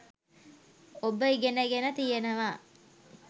ඔබ ඉගෙන ගෙන තියෙනවා.